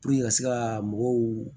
ka se ka mɔgɔw